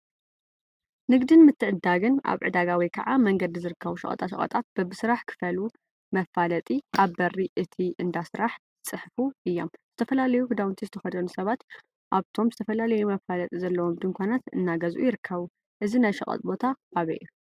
ንግድን ምትዕድዳግን አብ ዕዳጋ ወይ ከዓ መንገዲ ዝርከቡ ሸቀጣሸቀጣት በቢ ስራሕ ክፈሉ መፋለጢ አብ በሪ እቲ እንዳ ስራሕ ይፅሕፉ እዮም፡፡ ዝተፈላለዩ ክዳውንቲ ዝተከደኑ ሰባት አብቶም ዝተፈላለዩ መፋጢ ዘለዎም ድንኳናት እናገዝኡ ይርከቡ፡፡ እዚ ናይ ሸቀጥ ቦታ አበይ እዩ?